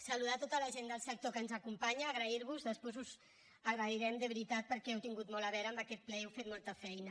saludar tota la gent del sector que ens acompanya donar·vos les gràcies després us ho agrairem de veritat perquè heu tingut molt a veure amb aquest ple i heu fet molta feina